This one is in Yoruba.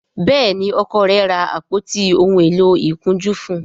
Béèni Ọkọ rẹ ra àpótí òún èló ìkunjú fún.